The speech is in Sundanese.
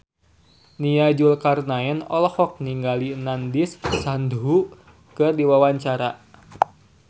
Nia Zulkarnaen olohok ningali Nandish Sandhu keur diwawancara